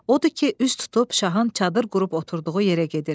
Odur ki, üz tutub şahın çadır qurub oturduğu yerə gedir.